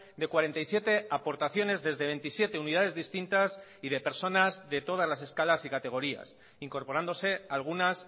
de cuarenta y siete aportaciones desde veintisiete unidades distintas y de personas de todas las escalas y categorías incorporándose algunas